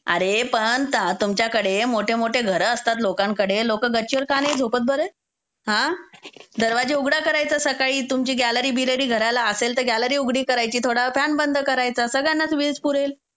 अरे, पण तुमच्याकडे मोठे-मोठे घर असतात लोकांकडे. लोक गच्चीवर का नाही झोपत बरं? हां? दरवाजे उघडे करायचे सकाळी, तुमची गॅलरी-बिलरी घराला असेल तर गॅलरी उघडी करायची, थोड्यावेळ फॅन बंद करायचा. सगळ्यांनाच वीज पुरेल.